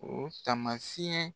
O taamasiyɛn